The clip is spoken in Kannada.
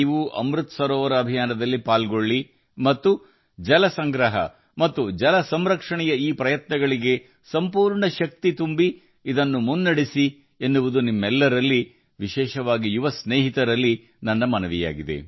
ಅಮೃತ್ ಸರೋವರ ಅಭಿಯಾನದಲ್ಲಿ ಸಕ್ರಿಯವಾಗಿ ಭಾಗವಹಿಸಲು ಮತ್ತು ನೀರಿನ ಸಂರಕ್ಷಣೆ ಮತ್ತು ನೀರಿನ ಸಂಗ್ರಹಣೆಯ ಈ ಪ್ರಯತ್ನಗಳಿಗೆ ಸಂಪೂರ್ಣ ಶಕ್ತಿಯನ್ನು ನೀಡುವಂತೆ ಮತ್ತು ಅವುಗಳನ್ನು ಮುಂದಕ್ಕೆ ಕೊಂಡೊಯ್ಯಲು ನಿಮ್ಮೆಲ್ಲರನ್ನೂ ವಿಶೇಷವಾಗಿ ನನ್ನ ಯುವ ಸ್ನೇಹಿತರನ್ನು ನಾನು ಕೋರುತ್ತೇನೆ